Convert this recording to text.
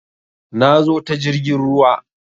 Na zo ta jirgin ruwa